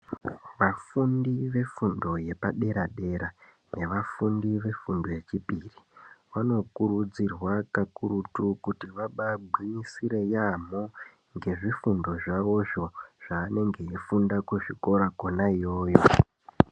Vafundi vefundo yepadera dera nevafundi vefundo yechipiri vanokurudzirwa kakuru kuti vabaagwinyisire yaamho ngezvifundo zvavozvo zvavanenge veifunda kuzvikora kwona iyoyo.